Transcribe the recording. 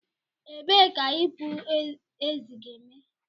Ebee ka ipu ezi ga-eme?